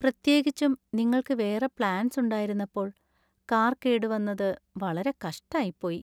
പ്രത്യേകിച്ചും നിങ്ങൾക്ക് വേറെ പ്ലാൻസ് ഉണ്ടായിരുന്നപ്പോൾ കാർ കേടുവന്നത് വളരെ കഷ്ടായിപ്പോയി.